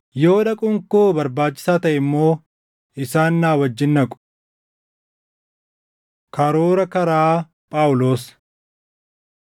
Yoo dhaquun koo barbaachisaa taʼe immoo isaan na wajjin dhaqu. Karoora Karaa Phaawulos